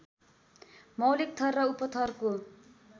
मौलिक थर र उपथरको